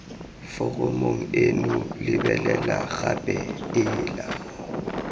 foromong eno lebelela gape ela